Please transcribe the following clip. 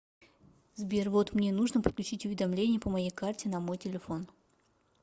сбер вот мне нужно подключить уведомления по моей карте на мой телефон